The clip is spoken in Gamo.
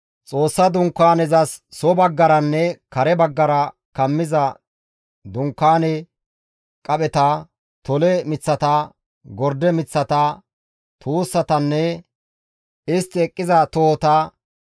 Xoossa Dunkaaneza, Dunkaanezas soo baggaranne kare baggara kammiza dunkaane, qapheta, tole miththata, gorde miththata, tuussatanne isttan eqqiza tohota,